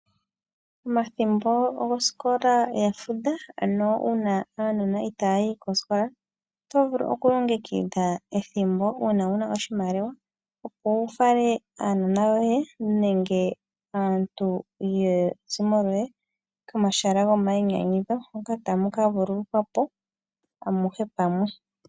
Omathimbo gosikola ya fudha ano uuna aanona itaaya yi koosikola, oto vulu okulongekidha ethimbo uuna wu na oshimaliwa opo wu fale aanona yoye nenge aantu yezimo lyoye komahala gomainyanyudho hono tamu ka vulukwa po amuhe pamwe.